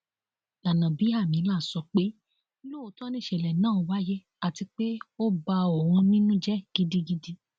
gbanábíàmílà sọ pé lóòótọ nìṣẹlẹ náà wáyé àti pé ó ba òun nínú jẹ gidigidi